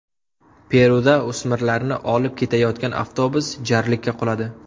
Peruda o‘smirlarni olib ketayotgan avtobus jarlikka quladi.